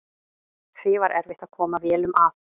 Því var erfitt að koma vélum að.